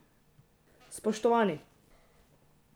Spoštovani!